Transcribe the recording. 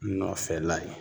Nɔfɛla ye